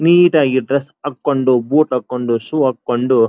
ನೀಟಾಗಿ ಡ್ರೆಸ್ ಹಾಕ್ಕೊಂಡು ಬುಟ್ ಹಾಕ್ಕೊಂಡು ಶೂ ಹಾಕ್ಕೊಂಡು--